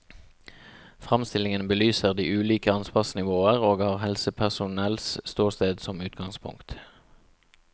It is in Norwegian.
Framstillingen belyser de ulike ansvarsnivåer og har helsepersonells ståsted som utgangspunkt.